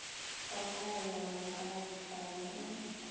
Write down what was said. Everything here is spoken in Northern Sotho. wa taelano ka labohlano o